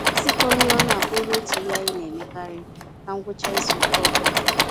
Isikọ-nri-ọnụ abụrụla otu ihe anyị naemekarị na ngwụcha izuka ọbula